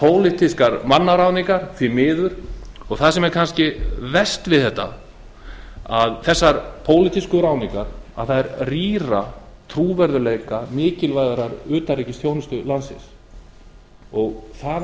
pólitískar mannaráðningar því miður það sem er kannski verst við þessar pólitísku ráðningar er að þær rýra trúverðugleika mikilvægis utanríkisþjónustu landsins það